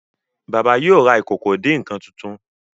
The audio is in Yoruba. baba yíò rá Ìkòkò ìdín-nǹkan títún.